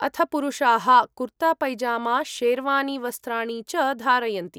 अथ पुरुषाः कुर्ता पैजामा शेरवानी वस्त्राणि च धारयन्ति।